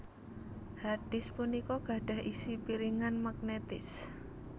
Hard disk punika gadhah isi piringan magnetis